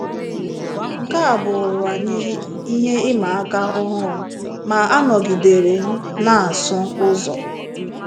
Nke a bụụrụ anyị ihe ịma aka ọhụrụ, ma anọgidere m na - asụ ụzọ.